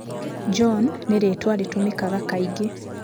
John nĩ rĩĩtwa rĩtũmĩkaga kaingĩ.